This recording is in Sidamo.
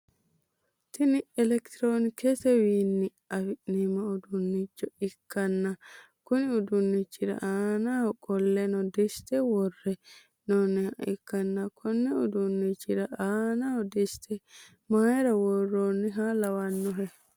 Tini elektroonikisetewiini afi'neemo uduunicho ikkanna konni uduunichira anaanni qolle dissite worre he'nooniha ikkanna konni uduunichira aanaho dissite mayiira worooniha lawannohe.